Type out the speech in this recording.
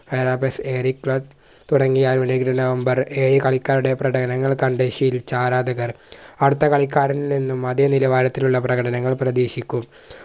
പരാപ്പസ് എരിത്രസ്‌ തുടങ്ങിയ നവംബർ ഏഴ് കളിക്കാരുടെ പ്രടകടനങ്ങൾ കണ്ട് ശീലിച്ച ആരാധകർ അടുത്ത കളിക്കാരിൽ നിന്നും അതേ നിലവാരത്തിലുള്ള പ്രകടനങ്ങൾ പ്രതീക്ഷിക്കും